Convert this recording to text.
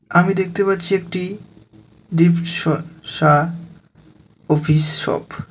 আমি দেখতে পাচ্ছি একটি দীপ-স-সা কফিস শপ .